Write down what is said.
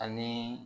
Ani